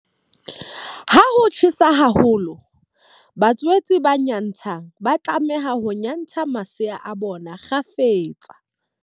Ha ho tjhesa haholo, batswetse ba nyantshang ba tlameha ho nyantsha masea a bona kgafetsa.